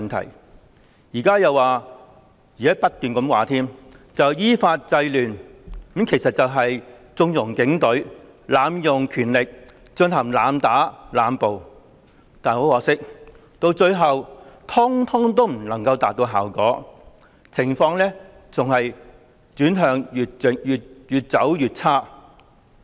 他們現在又說——是不斷地說——依法制亂，其實是縱容警隊、濫用權力、進行濫打濫捕，但很可惜，最後悉數未能達到效果，情況更是越來越差。